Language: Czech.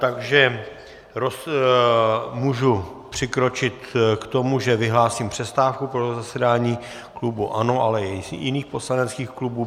Takže můžu přikročit k tomu, že vyhlásím přestávku pro zasedání klubu ANO, ale i jiných poslaneckých klubů.